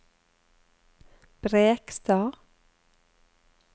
Brekstad